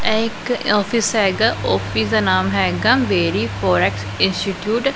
ਇਹ ਇਕ ਆਫਿਸ ਹੈਗਾ ਆਫਿਸ ਦਾ ਨਾਮ ਹੈਗਾ ਬੇਰੀ ਫੋਰੈਕਸ ਇੰਸਟੀਟਿਊਟ --